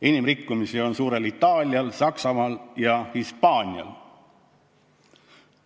Enim rikkumisi on suurel Itaalial, Saksamaal ja Hispaanial.